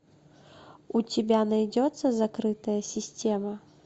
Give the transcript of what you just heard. у тебя найдется закрытая система